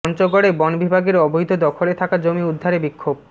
পঞ্চগড়ে বন বিভাগের অবৈধ দখলে থাকা জমি উদ্ধারে বিক্ষোভ